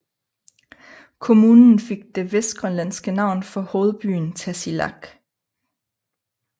Kommunen fik det vestgrønlandske navn for hovedbyen Tasiilaq